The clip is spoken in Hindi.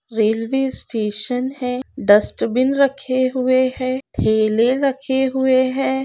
रेल्वे स्टेशन हैं डस्ट बिन रखे हुए हैं ठेले रखे हुए हैं।